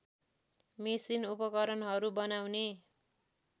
machine उपकरणहरू बनाउने